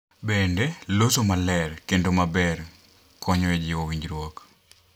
Bende, loso maler kendo maler konyo e jiwo winjruok.